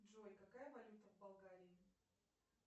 джой какая валюта в болгарии